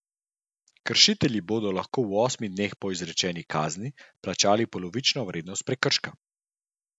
Kršitelji bodo lahko v osmih dneh po izrečeni kazni plačali polovično vrednost prekrška.